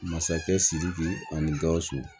Masakɛ sidiki ani gawusu